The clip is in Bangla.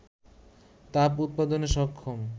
তাপ উৎপাদনে সক্ষম